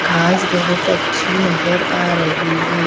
घांस बहुत अच्छी नजर आ रही है।